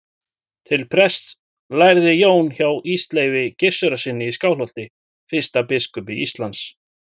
Til prests lærði Jón hjá Ísleifi Gissurarsyni í Skálholti, fyrsta biskupi Íslands.